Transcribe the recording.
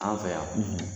An fɛ yan